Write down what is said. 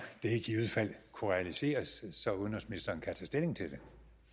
det i givet fald kunne realiseres så udenrigsministeren kan tage stilling til det